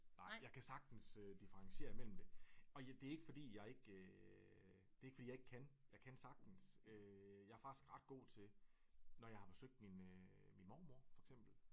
Nej jeg kan sagtens øh differentiere mellem det og det ikke fordi jeg ikke øh det ikke fordi jeg ikke kan jeg kan sagtens jeg er faktisk ret god til når jeg har besøgt min øh min mormor for eksempel